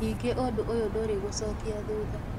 Ningĩ ũndũ ũyũ ndũrĩ gũcokia thutha